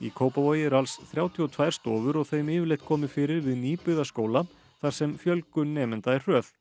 Kópavogi eru alls þrjátíu og tvær stofur og þeim yfirleitt komið fyrir við nýbyggða skóla þar sem fjölgun nemenda er hröð